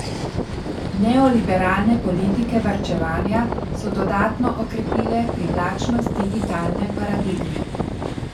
Neoliberalne politike varčevanja so dodatno okrepile privlačnost digitalne paradigme.